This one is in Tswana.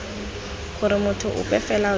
gore motho ope fela yo